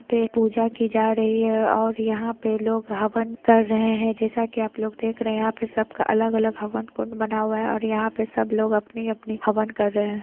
यहां पर पूजा की जा रही है और यहां पर लोग हवन कर रहे हैं जैसा कि आप लोग देख रहे हैं यहां पे सबका अलग-अलग हवन कुंड बना हुआ है सब लोग अपनी-अपनी हवन कर रहे हैं।